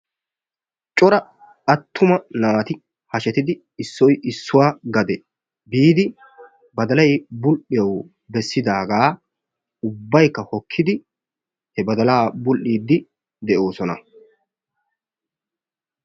cora attuma naati hashshetidi issoy issuwa gade biidi badalay bul'iyawu bessidaaga ubbaykka hokkidi he bagalaa bul'iidi de'oosona.